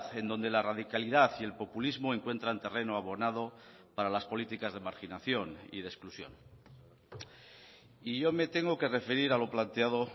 en donde la radicalidad y el populismo encuentran terreno abonado para las políticas de marginación y de exclusión y yo me tengo que referir a lo planteado